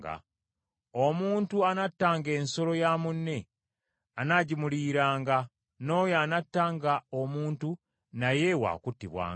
Omuntu anattanga ensolo ya munne anaagimuliyiranga, n’oyo anattanga omuntu naye waakuttibwanga.